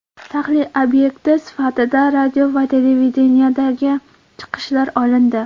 Tahlil obyekti sifatida radio va televideniyedagi chiqishlar olindi.